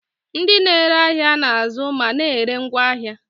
Ndị na-ere ahịa na-azụ ma na-ere ngwaahịa.